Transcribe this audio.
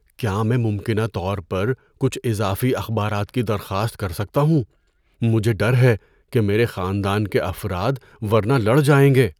کیا میں ممکنہ طور پر کچھ اضافی اخبارات کی درخواست کر سکتا ہوں؟ مجھے ڈر ہے کہ میرے خاندان کے افراد ورنہ لڑ جائیں گے۔